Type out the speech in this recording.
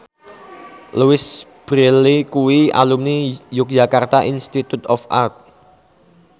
Louise Brealey kuwi alumni Yogyakarta Institute of Art